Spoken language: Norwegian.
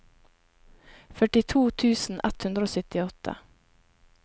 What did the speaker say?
førtito tusen ett hundre og syttiåtte